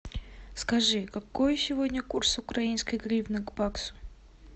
скажи какой сегодня курс украинской гривны к баксу